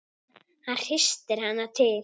Hann hristir hana til.